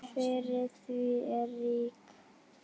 Fyrir því er rík hefð.